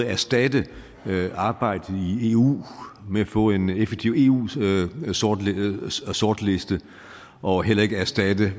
erstatte arbejdet i eu med at få en effektiv eu sortliste og heller ikke erstatte